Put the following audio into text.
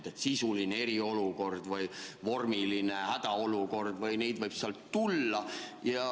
Noh et on sisuline eriolukord või vormiline hädaolukord või neid võib veel tulla.